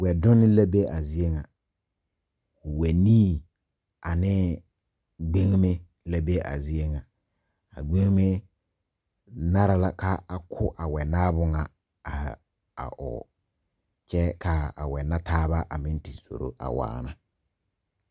Wɛ donne la be a zie ŋa wɛnii ane gbeŋme la be a zie ŋa a gbeŋme nara la ka a ko a wɛnaabo ŋa a ɔɔ kyɛ kaa a wɛnataaba meŋ te zoro a waana.